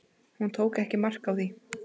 Hún tók ekki mark á því.